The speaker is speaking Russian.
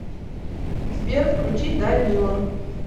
сбер включи да нила